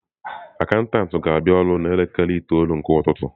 Akaụntụ ga-abịa ọrụ n'elekere itoolu nke ụtụtụ.